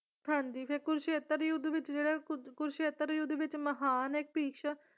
ਹਾਂਜੀ ਤੇ ਕੁਰੂਕਸ਼ੇਤਰ ਯੁੱਧ ਵਿੱਚ ਜਿਹੜਾ ਕੁ ਕੁਰੂਕਸ਼ੇਤਰ ਯੁੱਧ ਵਿੱਚ ਮਹਾਨ ਇੱਕ ਭਿਸ਼ਮ